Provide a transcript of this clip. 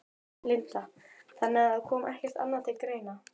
Linda: Þannig að það kom ekkert annað til greina?